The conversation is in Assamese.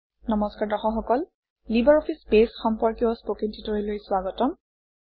নমস্কাৰ দৰ্শক সকল লিবাৰঅফিছ বেছ সম্পৰ্কীয় স্পকেন ট্যুটৰিয়েললৈ স্বাগতম